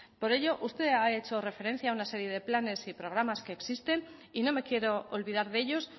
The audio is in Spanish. por ello usted ha hecho referencia a una serie de planes y programas que existen y no me quiero olvidar de ellos